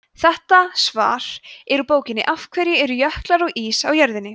þetta svar er úr bókinni af hverju eru jöklar og ís á jörðinni